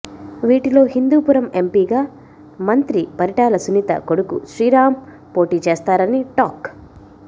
వీటిలో హిందూపురం ఎంపీగా మంత్రి పరిటాల సునీత కొడుకు శ్రీరామ్ పోటీ చేస్తారని టాక్